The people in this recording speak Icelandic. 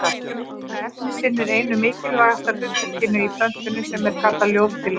Þetta efni sinnir einu mikilvægasta hlutverkinu í plöntunni sem er kallað ljóstillífun.